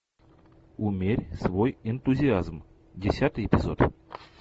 умерь свой энтузиазм десятый эпизод